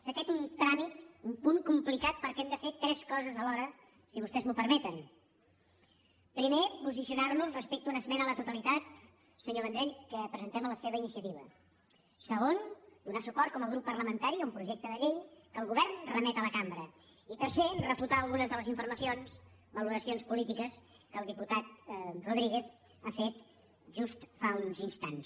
és aquest un tràmit un punt complicat perquè hem de fer tres coses alhora si vostès m’ho permeten primer posicionarnos respecte a una esmena a la totalitat senyor vendrell que presentem a la seva iniciativa segon donar suport com a grup parlamentari a un projecte de llei que el govern remet a la cambra i tercer refutar algunes de les informacions valoracions polítiques que el diputat rodríguez ha fet just fa uns instants